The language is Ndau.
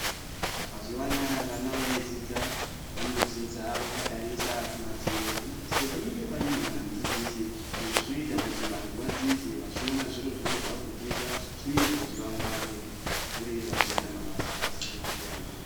Mazuva anawa vana veidzidza vanodzidza vakatarisa pamadziro pamadziro panenge panyorwa namudzidzisi izvi zvinoita kuti vantu vadzidze vachiona zviro zvacho zvavari kudzidza zvinoita kuti vangware vakure vachizoita mabasa akasiyana-siyana.